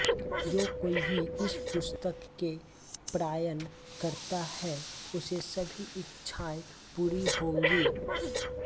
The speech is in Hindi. जो कोई भी इस पुस्तक के पारायण करता है उसे सभी इच्छाएँ पूरी होंगी